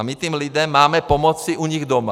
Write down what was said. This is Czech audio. A my těm lidem máme pomoci u nich doma.